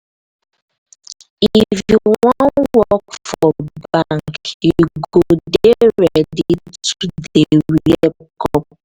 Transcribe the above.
if you wan work for bank you go dey ready to dey wear corp.